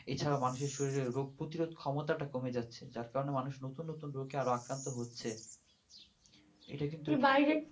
এ ছাড়া মানুষের শরীরে রোগ প্রতিরোধ ক্ষমতা টা কমে যাচ্ছে যার কারণে মানুষ নুতুন নতুন রোগে আরো আক্রান্ত হচ্ছে এত কিন্তু